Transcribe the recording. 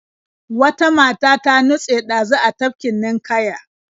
Wata mata ta nutse ɗazu a tafkin ninƙaya.